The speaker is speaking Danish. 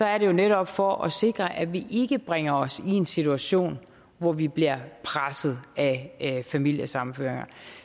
er det jo netop for at sikre at vi ikke bringer os i en situation hvor vi bliver presset af familiesammenføringer